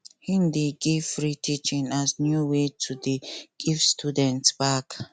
he dey give free teaching as new way to dey give students back